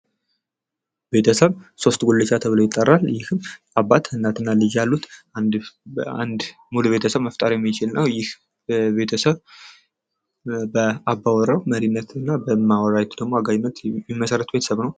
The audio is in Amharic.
ቤተሰብ ሶስት ጉልቻ ተብሎ ይጠራል ይህም አባት እናትና ልጅ ያሉት አንድ ሙሉ ቤተሰብ መፍጠር የሚችል ነው ይህ ቤተሰብ በአባውራው መሪነትና በእማውራይቱደግሞ ታጋይነት የሚመሰረት ቤተሰብ ነው።